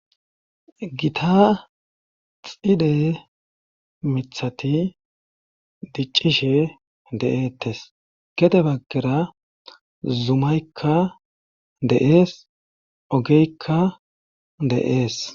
gita xide mithati diccishe de7eettes gede baggera zumaykka deees ogeykka de7ees